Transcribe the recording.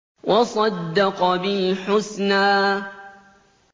وَصَدَّقَ بِالْحُسْنَىٰ